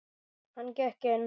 Hann gekk inn.